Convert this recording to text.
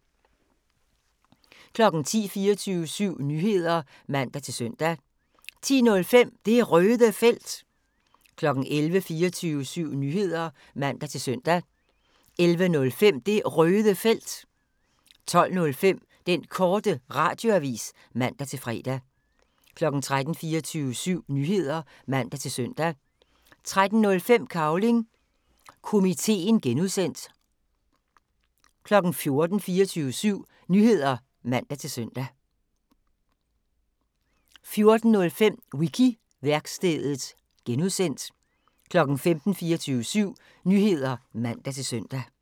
10:00: 24syv Nyheder (man-søn) 10:05: Det Røde Felt 11:00: 24syv Nyheder (man-søn) 11:05: Det Røde Felt 12:05: Den Korte Radioavis (man-fre) 13:00: 24syv Nyheder (man-søn) 13:05: Cavling Komiteen (G) 14:00: 24syv Nyheder (man-søn) 14:05: Wiki-værkstedet (G) 15:00: 24syv Nyheder (man-søn)